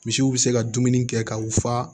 Misiw bɛ se ka dumuni kɛ ka u fa